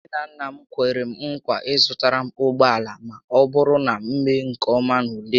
Nne na nna m kwere m nkwa ịzụtara m ụgbọala ma ọbụrụ na m mee nke ọma n'ule m